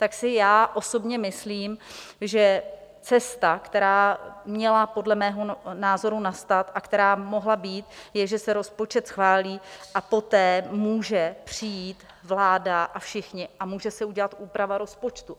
Tak si já osobně myslím, že cesta, která měla podle mého názoru nastat a která mohla být, je, že se rozpočet schválí a poté může přijít vláda a všichni a může se udělat úprava rozpočtu.